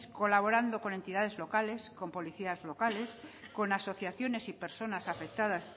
colaborando con entidades locales con policías locales con asociaciones y personas afectadas